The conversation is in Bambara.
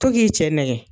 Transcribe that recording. To k'i cɛ nɛgɛ